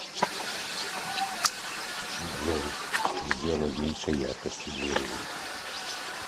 джой сделай меньше яркость у дверей